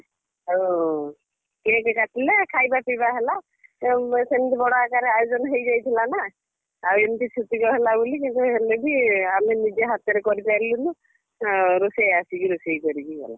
ଆଉ cake କାଟିଲା ଖାଇବା ପିଇବା ହେଲା। ଉମ୍ ସେମିତି ବଡ ଆକାରରେ ଆୟୋଜନ ହେଇଯାଇଥିଲା ନା ଆଉ ଏମିତି ଛୁତିକ ହେଲା ବୋଲି କିନ୍ତୁ ହେଲେ ବି ଆଉ ଆମେ ନିଜେ ହାତରେ କରିପାରିଲୁନୁ। ଆ ରୋଷେୟା ଆସିକି ରୋଷେଇ କରିକି ଗଲା।